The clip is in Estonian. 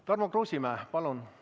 Tarmo Kruusimäe, palun!